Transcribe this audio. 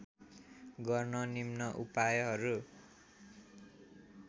गर्न निम्न उपायहरू